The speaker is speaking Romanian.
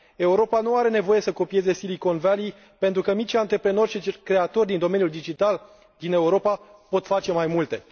Europa nu are nevoie să copieze Silicon Valley, pentru că micii antreprenori și creatori din domeniul digital din Europa pot face mai multe.